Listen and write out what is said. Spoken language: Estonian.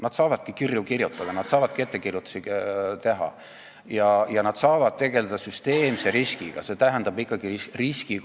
Nad saavadki vaid kirju kirjutada, nad saavadki vaid ettekirjutusi teha ja nad saavadki tegelda süsteemse riskiga, see tähendab ikkagi riskikontrolli.